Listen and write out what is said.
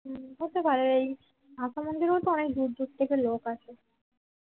হতে পারে ভাষা মন্দিরেও তো অনেক দূর দূর থেকে লোক আছে